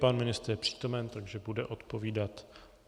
Pan ministr je přítomen, takže bude odpovídat.